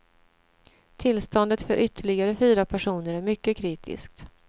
Tillståndet för ytterligare fyra personer är mycket kritiskt.